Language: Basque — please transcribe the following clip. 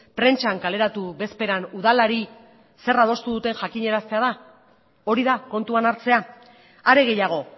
prentsan kaleratu bezperan udalari zer adostu duten jakinaraztea da hori da kontuan hartzea are gehiago